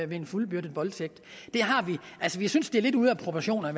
ved en fuldbyrdet voldtægt altså vi synes det er lidt ude af proportioner